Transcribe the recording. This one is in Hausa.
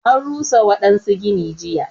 An rusa waɗansu gini jiya.